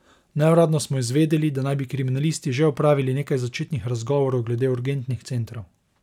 Neuradno smo izvedeli, da naj bi kriminalisti že opravili nekaj začetnih razgovorov glede urgentnih centrov.